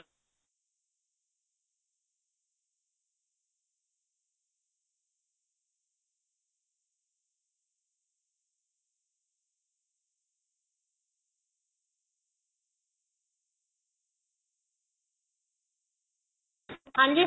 ਹਾਂਜੀ